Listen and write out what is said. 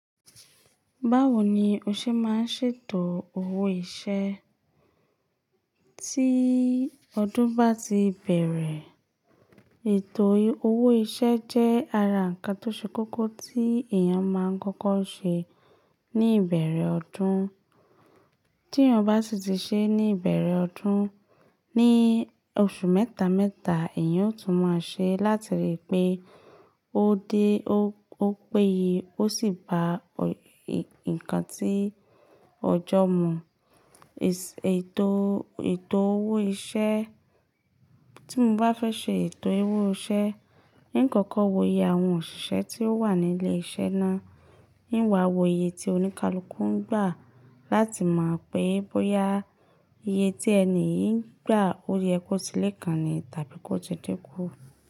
Báwo ni o ṣe máa ń ṣètò owó ìṣe tí ọdún bá ti bẹ̀rẹ̀? Ètò owó ìṣe jẹ́ ara ǹkan tó ṣe kókó tí èèyàn máa ń kọ́kọ́ ṣe ní ìbẹ̀rẹ̀ ọdún. Tí èèyàn bá sì ti ṣe é ní ìbẹ̀rẹ̀ ọdún, ní oṣù mẹ́ta mẹ́ta èèyàn ó tún máa ṣe láti rí i pé ó dé ó péye ó sì ba nǹkan tí ọjọ́ mu. Èsì ètò, ètò owó ìṣe, tí mo bá fẹ́ ṣe ètò owó ìṣe, ní ìkọ̀kọ̀ wòye àwọn òṣìṣẹ́ tí ó wà ní ilé-iṣẹ́ náà, níwà wòye ti oníkálukú ń gbà láti mọ̀ pé bóyá iye tí ẹni yìí ń gbà ó yẹ kó tilẹ̀ kàní tàbí kó ti dínkù.